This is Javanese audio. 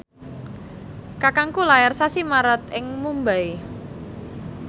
kakangku lair sasi Maret ing Mumbai